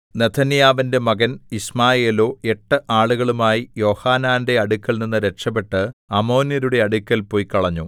നെഥന്യാവിന്റെ മകൻ യിശ്മായേലോ എട്ട് ആളുകളുമായി യോഹാനാന്റെ അടുക്കൽനിന്ന് രക്ഷപെട്ട് അമ്മോന്യരുടെ അടുക്കൽ പൊയ്ക്കളഞ്ഞു